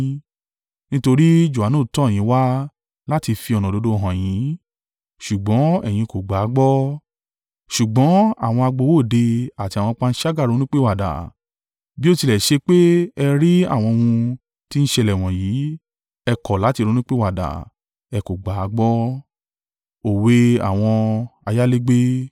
Nítorí Johanu tọ́ yin wá láti fi ọ̀nà òdodo hàn yín, ṣùgbọ́n ẹ̀yin kò gbà á gbọ́, ṣùgbọ́n àwọn agbowó òde àti àwọn panṣágà ronúpìwàdà, bí ó tilẹ̀ ṣe pé ẹ rí àwọn ohun tí ń ṣẹlẹ̀ wọ̀nyí, ẹ kọ̀ láti ronúpìwàdà, ẹ kò gbà á gbọ́.”